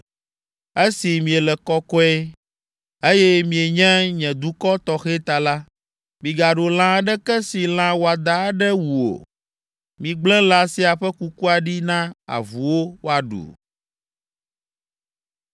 “Esi miele kɔkɔe, eye mienye nye dukɔ tɔxɛ ta la, migaɖu lã aɖeke si lã wɔadã aɖe wu o. Migblẽ lã sia ƒe kukua ɖi na avuwo woaɖu.”